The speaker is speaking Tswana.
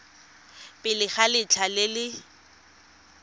pele ga letlha le le